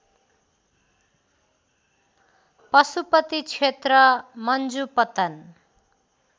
पशुपति क्षेत्र मन्जुपतन